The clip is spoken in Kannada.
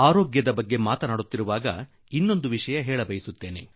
ಆರೋಗ್ಯದ ಮಾತು ಹೊರಟಾಗ ನಾನು ಇನ್ನೂ ಒಂದು ಸಂಗತಿಯನ್ನು ಸೇರಿಸಲು ಬಯಸುವೆ